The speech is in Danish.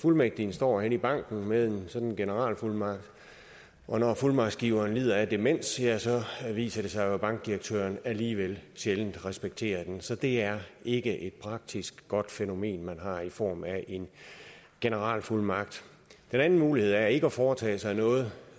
fuldmægtigen står henne i banken med en sådan generalfuldmagt og når fuldmagtsgiveren lider af demens ja så viser det sig jo at bankdirektøren alligevel sjældent respekterer den så det er ikke et godt praktisk fænomen man har i form af en generalfuldmagt den anden mulighed er ikke at foretage sig noget